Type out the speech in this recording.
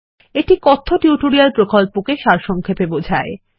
এটি কথ্য টিউটোরিয়াল প্রকল্পটিকে সারসংক্ষেপে বোঝায়